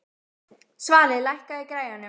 Svali, lækkaðu í græjunum.